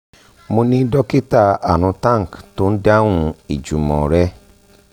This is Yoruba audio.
mo ni dokita arun tank tó ń dáhùn ìjùmọ̀ rẹ